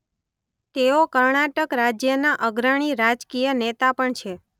તેઓ કર્ણાટક રાજ્યના અગ્રણી રાજકીય નેતા પણ છે.